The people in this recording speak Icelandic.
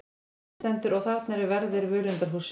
Á myndinni stendur: Og þarna eru verðir völundarhússins.